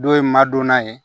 Dɔw ye madonna ye